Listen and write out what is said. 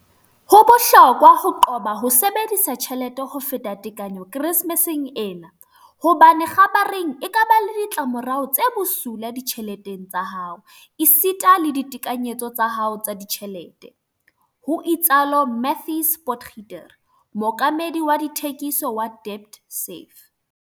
"Ho bohlokwa ho qoba ho sebedisa tjhelete ho feta tekanyo Keresemeseng ena, hobane kgabareng e ka ba le ditla morao tse bosula ditjheleteng tsa hao esita le ditekanyetsong tsa hao tsa ditjhelete," ho itsalo Matthys Potgieter, mookamedi wa dithekiso wa DebtSafe.